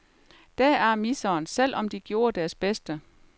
Deraf miseren, selv om de gjorde deres bedste.